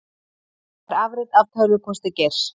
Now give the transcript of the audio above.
Fær afrit af tölvupósti Geirs